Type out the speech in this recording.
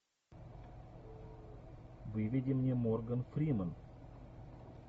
выведи мне морган фримен